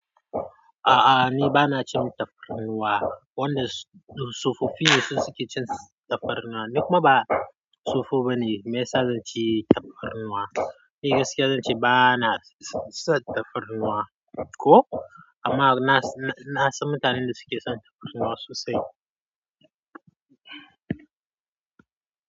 A'a, ni ba na cin tafarnuwa, wanda tsofoffi su ke cin tafarnuwa. Ni kuma ba tsofo bane maiya sa zanci tafarnuwa. Ni gaskiya zan ce ba na son tafarnuwa ko, amma nasan na san mutanen da suke son tafarnuwa sosai.